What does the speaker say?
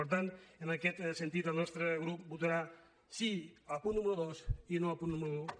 per tant en aquest sentit el nostre grup votarà sí al punt número dos i no al punt número un